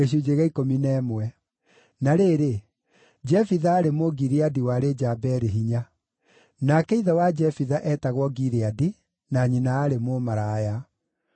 Na rĩrĩ, Jefitha aarĩ Mũgileadi warĩ njamba yarĩ hinya. Nake ithe wa Jefitha eetagwo Gileadi, na nyina aarĩ mũmaraya.